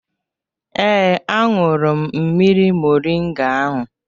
Ee, ahụrụ m mmiri moringa ahụ